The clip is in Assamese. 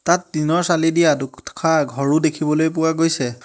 তাত টিনৰ চালি দিয়া দু-দুশা ঘৰো দেখিবলৈ পোৱা গৈছে।